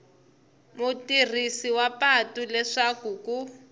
mutirhisi wa patu leswaku ku